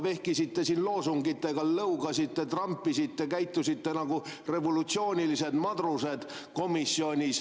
Vehkisite siin loosungitega, lõugasite, trampisite, käitusite komisjonis nagu revolutsioonilised madrused.